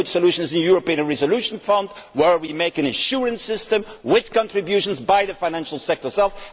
The only good solution is the European Resolution Fund, whereby we make an insurance system with contributions by the financial sector itself.